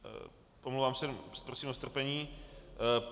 Omlouvám se, prosím o strpení.